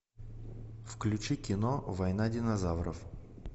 включи кино война динозавров